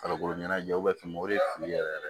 Farikolo ɲɛnajɛw bɛ fɛ o de fili yɛrɛ yɛrɛ